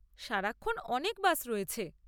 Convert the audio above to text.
সারাক্ষণ অনেক বাস রয়েছে।